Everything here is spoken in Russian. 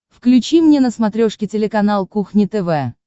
включи мне на смотрешке телеканал кухня тв